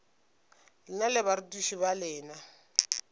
lena le barutiši ba lena